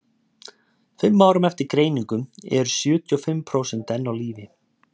fimm árum eftir greiningu eru sjötíu og fimm prósent enn á lífi